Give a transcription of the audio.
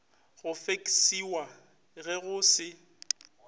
go feksiwa ge go se